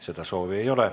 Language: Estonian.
Seda soovi ei ole.